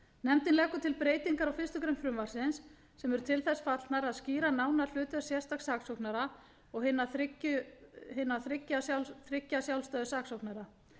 nefndin leggur til breytingar á fyrstu grein frumvarpsins sem eru til þess fallnar að skýra nánar hlutverk sérstaks saksóknara og hinna þriggja sjálfstæðu saksóknara